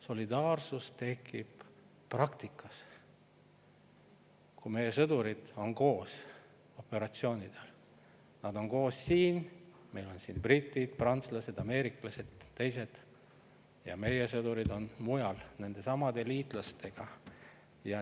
Solidaarsus tekib praktikas, kui meie sõdurid on koos operatsioonidel, nad on koos siin – meil on siin britid, prantslased, ameeriklased ja teised –, ning meie sõdurid on mujal koos nendesamade liitlastega.